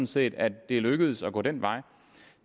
set at det er lykkedes at gå den vej